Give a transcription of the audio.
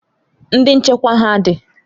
Ndị nchekwa ha dị?